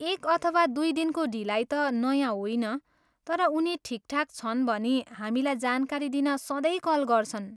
एक अथवा दुई दिनको ढिलाइ त नयाँ होइन, तर उनी ठिकठाक छन् भनी हामीलाई जानकारी दिन सधैँ कल गर्छन्।